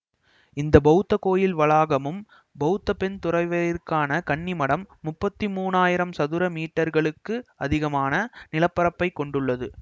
இந்த பௌத்த கோயில் வளாகமும் பௌத்த பெண் துறவியருக்கான கன்னிமடம் முப்பத்தி மூனாயிரம் சதுர மீட்டர்களுக்கும் அதிகமான நில பரப்பை கொண்டுள்ளது